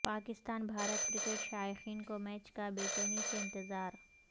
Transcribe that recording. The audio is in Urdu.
پاکستان بھارت کرکٹ شائقین کو میچ کا بے چینی سے انتظار